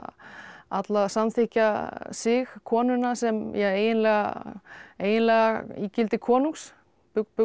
alla samþykkja sig konuna sem eiginlega eiginlega ígildi konungs